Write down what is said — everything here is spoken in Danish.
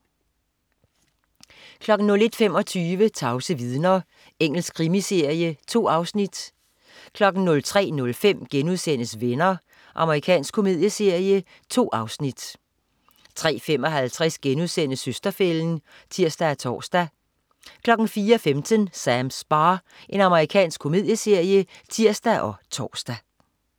01.25 Tavse vidner. Engelsk krimiserie. 2 afsnit 03.05 Venner.* Amerikansk komedieserie. 2 afsnit 03.55 Søster-fælden* (tirs og tors) 04.15 Sams bar. Amerikansk komedieserie (tirs og tors)